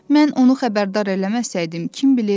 Mən onu xəbərdar eləməsəydim, kim bilər?